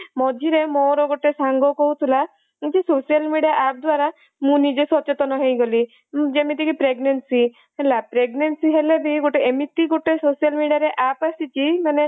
ମଝିରେ ମୋର ଗୋଟେ ସାଙ୍ଗ କହୁଥିଲା ଏମିତି social media app ଦ୍ଵାରା ମୁଁ ନିଜେ ସଚେତନ ହେଇଗଲି ଯେମିତିକି pregnancy ହେଲା pregnancy ହେଲେ ବି ଗୋଟେ ଏମିତି ଗୋଟେ social media ରେ app ଆସିଛି ମାନେ